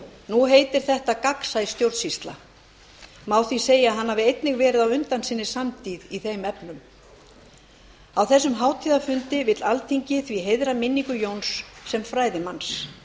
nú heitir þetta gagnsæ stjórnsýsla og má því segja að hann hafi einnig verið á undan sinni samtíð í þeim efnum á þessum hátíðarfundi vill alþingi því heiðra minningu jóns sem fræðimanns